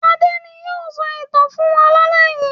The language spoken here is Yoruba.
Adé ni yóò sọ ìtàn fún wa lálẹ́ yìí.